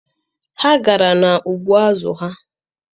Ha gara n'ugbo azụ ha.